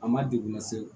A ma degun lase